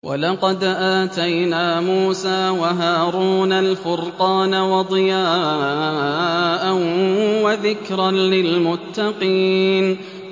وَلَقَدْ آتَيْنَا مُوسَىٰ وَهَارُونَ الْفُرْقَانَ وَضِيَاءً وَذِكْرًا لِّلْمُتَّقِينَ